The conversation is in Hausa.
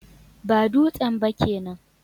Ba dutsen ba kenan